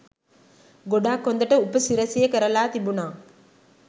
ගොඩක් හොදට උපසිරැසිය කරලා තිබුනා